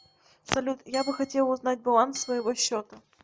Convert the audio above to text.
салют я бы хотела узнать баланс своего счета